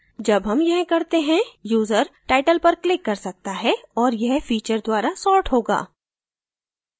जब हम यह करते हैं यूजर title पर click कर सकता है और यह feature द्वारा sort होगा